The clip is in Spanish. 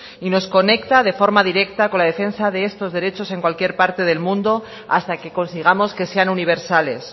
y nos conecta de forma directa con la defensa de estos derechos en cualquier parte del mundo hasta que consigamos que sean universales